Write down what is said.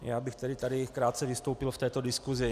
Já bych tedy tady krátce vystoupil v této diskusi.